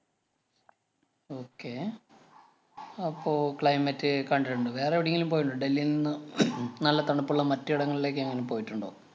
okay അപ്പൊ climate അ് കണ്ടിട്ടുണ്ട്. വേറെ എവിടേങ്കിലും പോയിട്ടുണ്ടോ? ഡൽഹിയിൽ നിന്ന് നല്ല തണുപ്പുള്ള മറ്റ് എടെങ്ങളിലേക്കെങ്ങാനും പോയിട്ടുണ്ടോ?